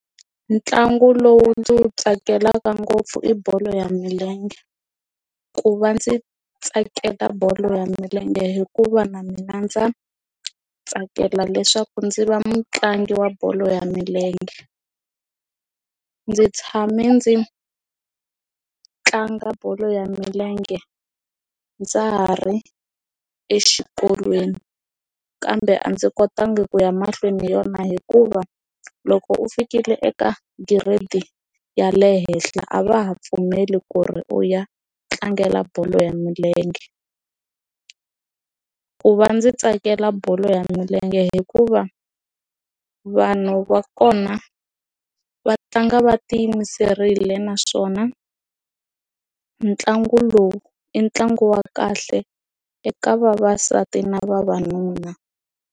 Ntlangu lowu ndzi wu tsakelaka ngopfu i bolo ya milenge ku va ndzi tsakela bolo ya milenge hikuva na mina ndza tsakela leswaku ndzi va mutlangi wa bolo ya milenge a ndzi tshame ndzi tlanga bolo ya milenge ndza ha ri exikolweni kambe a ndzi kotanga ku ya mahlweni hi yona hikuva loko u fikile eka giredi ya le henhla a va ha pfumeli ku ri u ya tlangela bolo ya milenge ku va ndzi tsakela bolo ya milenge hikuva vanhu va kona va tlanga va ti yimiserile naswona ntlangu lowu i ntlangu wa kahle eka vavasati na vavanuna.